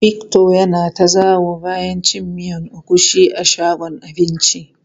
Victor ya na ta zawo bayan cin miyan agushi a shagon abincin.